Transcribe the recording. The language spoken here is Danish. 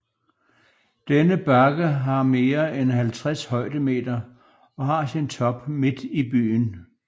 Denne bakke har mere end 50 højdemeter og har sin top midt i byen